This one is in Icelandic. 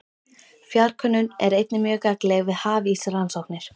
Fjarkönnun er einnig mjög gagnleg við hafísrannsóknir.